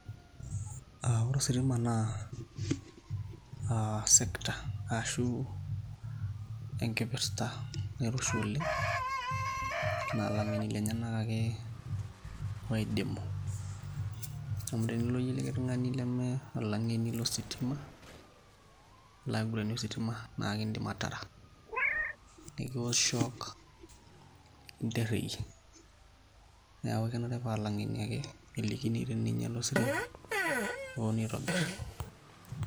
Ore ositima na sector ashu enkipirta naitushuli nalang'eni ake oidimu amu tenilo iyie olikae tung'ani nama olang'eni lositima aloaiguranie ositima na ekindim ataara nikiwosh shock nikintereyie neaku kenare paa langenu ake elikini teninyala ositima peponu aitobir.